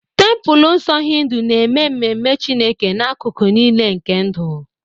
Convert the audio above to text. Templelọ nsọ Hindu na-eme ememe Chineke n'akụkụ niile nke ndụ.